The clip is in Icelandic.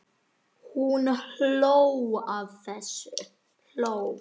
Hún hló að þessu.